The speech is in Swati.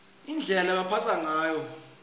indlela lebebambatsa ngayo